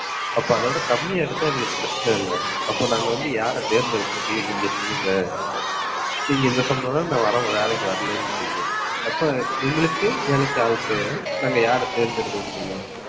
அப்ப அதைவிட கம்மியா எடுத்தால் எங்களுக்கு பிரச்சனை இல்லை. அப்ப நாங்க வந்து யார தேர்ந்தெடுக்க முடியும் நீங்க சொல்லுங்க நீங்க இந்த சம்பளம்ன்னா நான் வர்றேன் வேலைக்கு வரலைன்றீங்க. அப்ப எங்களுக்கு வேலைக்கு ஆள் தேவை. நாங்க யாரை தேர்ந்தெடுக்க முடியும்